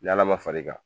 Ni ala ma far'i kan